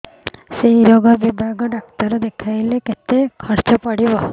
ସେଇ ରୋଗ ବିଭାଗ ଡ଼ାକ୍ତର ଦେଖେଇଲେ କେତେ ଖର୍ଚ୍ଚ ପଡିବ